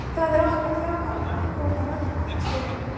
Og það er okkar þjálfaranna að að koma mönnum í þann skilning.